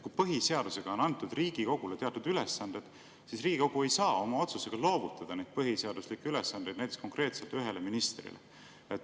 Kui põhiseadusega on antud Riigikogule teatud ülesanded, siis Riigikogu ei saa oma otsusega loovutada neid põhiseaduslikke ülesandeid näiteks konkreetselt ühele ministrile.